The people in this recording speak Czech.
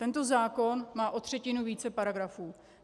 Tento zákon má o třetinu více paragrafů.